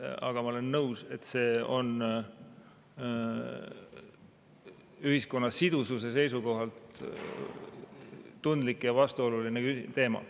Aga ma olen nõus, et see on ühiskonna sidususe seisukohalt tundlik ja vastuoluline teema.